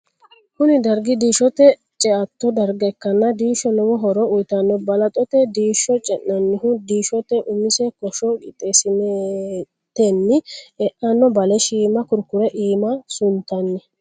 kuni dargi diishote ceatto darga ikkana diisho lowo horo uyitanno. balaxote diisho ce'nannihu diishote umise kosho qixxeesatenni e'anno bale shiima kurkurre iima suntanni.